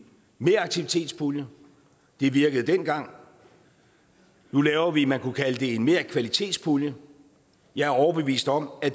meraktivitetspulje det virkede dengang nu laver vi noget man kan kalde en merkvalitetspulje jeg er overbevist om at